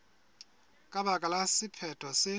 ka baka la sephetho se